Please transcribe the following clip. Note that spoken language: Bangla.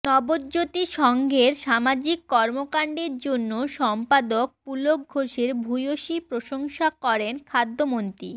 নবজ্যোতি সংঘের সামাজিক কর্মকাণ্ডের জন্য সম্পাদক পুলক ঘোষের ভূয়সি প্রশংসা করেন খাদ্যমন্ত্রী